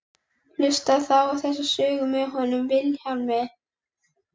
Hlustaðu þá á þessa sögu með honum Vilhjálmi.